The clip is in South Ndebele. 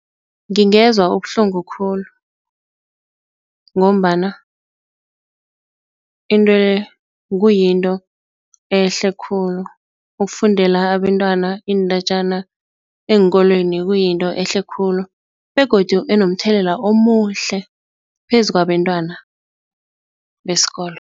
Ngingezwa ubuhlungu khulu ngombana kuyinto ehle khulu ukufundela abentwana iindatjana eenkolweni kuyinto ehle khulu begodu enomthelela omuhle phezukwabentwana besikolo.